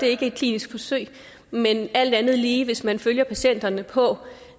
er et klinisk forsøg men alt andet lige hvis man følger patienterne på